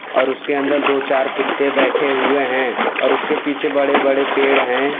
और उसके अंदर दो चार कुत्ते बैठे हुए हैं और उसके पीछे बड़े बड़े पेड़ हैं।